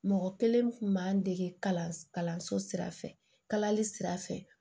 Mɔgɔ kelen kun b'an dege kalanso sira fɛ kalali sira fɛ